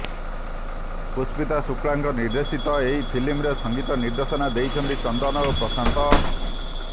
ପୁଷ୍ପିତା ଶୁଳ୍କାଙ୍କ ନିର୍ଦ୍ଦେଶିତ ଏହି ଫିଲ୍ମରେ ସଙ୍ଗୀତ ନିର୍ଦ୍ଦେଶନା ଦେଇଛନ୍ତି ଚନ୍ଦନ ଓ ପ୍ରଶାନ୍ତ